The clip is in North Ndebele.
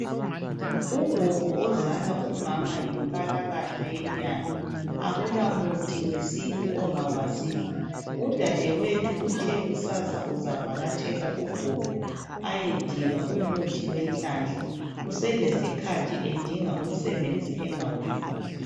ugog ozala umama yinkalatha yenyanga akula muthi wesintu angawaziyo udadewethu uthe kusasa uzavakatshela ugogo ayedinga umuthi wenhlanhla uselesikhathi edinga umsebenzi engawutholi